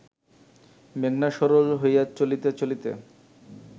মেঘনা সরল হইয়া চলিতে চলিতে